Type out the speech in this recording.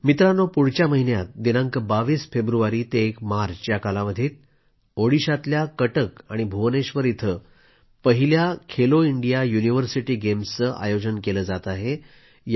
मित्रांनो पुढच्या महिन्यात दिनांक 22 फेब्रुवारी ते 1 मार्च या कालावधीत ओडिशातल्या कटक आणि भुवनेश्वर इथं पहिल्या खेलो इंडिया युनिव्हर्सिटी गेम्सचे आयोजन केलं जात आहे